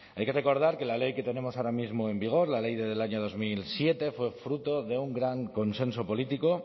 hay que recordar que la ley que tenemos ahora mismo en vigor la ley del año dos mil siete fue fruto de un gran consenso político